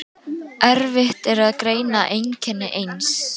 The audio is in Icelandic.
Erfitt er að greina einkenni eins